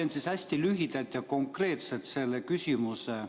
Ma esitan hästi lühidalt ja konkreetselt selle küsimuse.